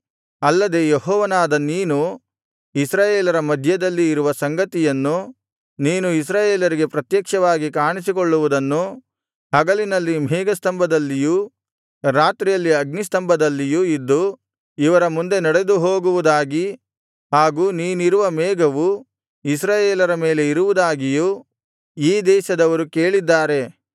ಅಲ್ಲದೆ ಯೆಹೋವನಾದ ನೀನು ಇಸ್ರಾಯೇಲರ ಮಧ್ಯದಲ್ಲಿ ಇರುವ ಸಂಗತಿಯನ್ನು ನೀನು ಇಸ್ರಾಯೇಲರಿಗೆ ಪ್ರತ್ಯಕ್ಷವಾಗಿ ಕಾಣಿಸಿಕೊಳ್ಳುವುದನ್ನು ಹಗಲಿನಲ್ಲಿ ಮೇಘಸ್ತಂಭದಲ್ಲಿಯೂ ರಾತ್ರಿಯಲ್ಲಿ ಅಗ್ನಿಸ್ತಂಭದಲ್ಲಿಯೂ ಇದ್ದು ಇವರ ಮುಂದೆ ನಡೆದುಹೋಗುವುದಾಗಿ ಹಾಗೂ ನೀನಿರುವ ಮೇಘವು ಇಸ್ರಾಯೇಲರ ಮೇಲೆ ಇರುವುದಾಗಿಯೂ ಈ ದೇಶದವರು ಕೇಳಿದ್ದಾರೆ